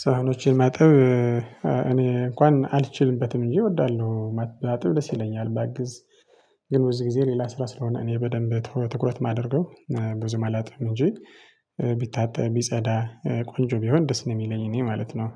ሳህኖችን ማጠብ እኔ እንኳን አልችልበትም እንጂ እወዳለሁ ባጥብ ደስ ይለኛል ባግዝ። ግን ብዙ ጊዜ ሌላ ስራ ስለሆነ እኔ በደንብ ትኩረት ትኩረት የማደርገው ብዙም አላጥብም እንጂ። ቢታጠብ ቢጸዳ ቆንጆ ቢሆን ደስ ነው የሚለኝ እኔ ማለት ነው።